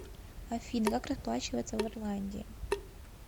афина как расплачиваться в ирландии